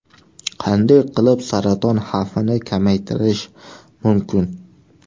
Qanday qilib saraton xavfini kamaytirish mumkin?